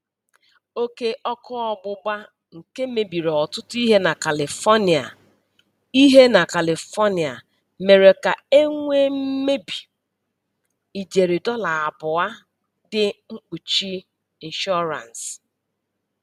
Oke ọkụ ọgbụgba nke mebiri ọtụtụ ihe na Kalifonịa ihe na Kalifonịa mere ka e nwee mmebi ijeri dọla abụọ dị mkpuchi nshọransị.